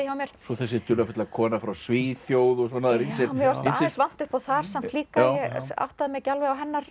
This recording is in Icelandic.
hjá mér svo þessi dularfulla kona frá Svíþjóð og svona mér fannst aðeins vanta upp á það samt líka ég áttaði mig ekki alveg á hennar